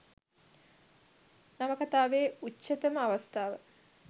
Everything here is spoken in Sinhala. නවකතාවේ උච්චතම අවස්ථාව